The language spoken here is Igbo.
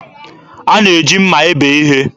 A na-eji mma ebe ihe.